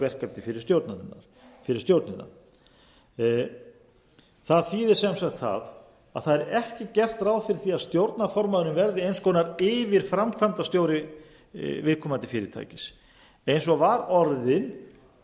verkefni fyrir stjórnina það þýðir sem sagt það að ekki er gert ráð fyrir því að stjórnarformaðurinn verði eins konar yfirframkvæmdastjóri viðkomandi fyrirtækis eins og var orðin